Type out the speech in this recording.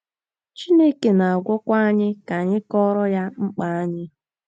Chineke na - agwakwa anyị ka anyị kọọrọ ya mkpa anyị.